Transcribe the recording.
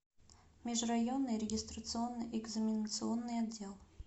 межрайонный регистрационно экзаменационный отдел